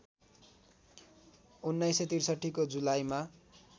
१९६३ को जुलाईमा